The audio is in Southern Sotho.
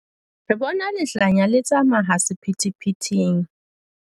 Re bona lehlanya le tsamaya sephethephetheng.